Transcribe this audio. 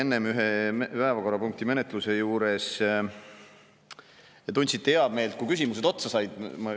Enne te ühe päevakorrapunkti menetluse ajal tundsite heameelt, kui küsimused otsa said.